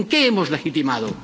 ¿En qué hemos legitimado?